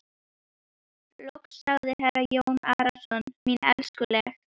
Loks sagði herra Jón Arason: Mín elskuleg.